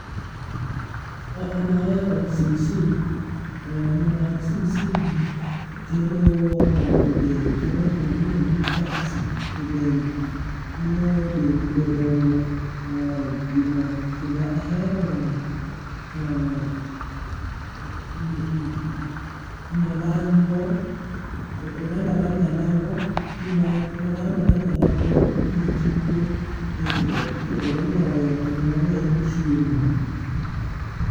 An ahero sim sim, ni mar sim sim kelo mo e del, kelo mo mi iluongo ni fats e dend, miyo dendi bedo gi mo kendo ahero nyalango oganda mar nyalango nimar oganda mar nyalango inya tigo, itedo go nyoyo kendo mano en chiemo.